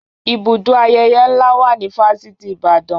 Ibùdó ayẹyẹ ńlá wà ní Fáṣitì Ìbàdàn